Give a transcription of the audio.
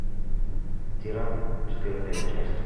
тиран четвертая часть